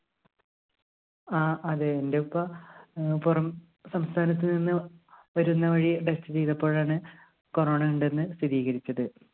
ആ അതെ എന്റെ ഉപ്പ ഏർ പുറംസംസ്ഥാനത്ത്‌ നിന്ന് വരുന്നേ വഴി test ചെയ്തപ്പോഴാണ് corona യുണ്ടെന്ന് സ്ഥിരീകരിച്ചത്.